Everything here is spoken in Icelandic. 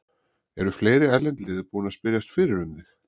Eru fleiri erlend lið búin að spyrjast fyrir um þig?